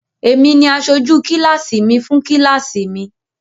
Èmi ni asojú kíláásì mi fún kíláásì mi.